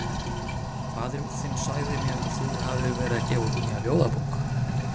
Faðir þinn sagði mér að þú hefðir verið að gefa út nýja ljóðabók.